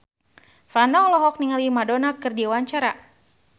Franda olohok ningali Madonna keur diwawancara